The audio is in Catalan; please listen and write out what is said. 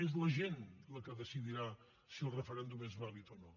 és la gent la que decidirà si el referèndum és vàlid o no